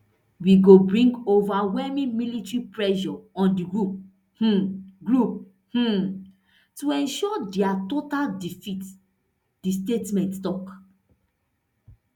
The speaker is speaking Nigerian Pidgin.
we go bring overwhelming military pressure on di group um group um to ensure dia total defeat di statement tok